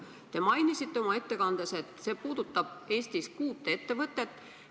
Te mainisite oma ettekandes, et see puudutab Eestis kuut ettevõtet.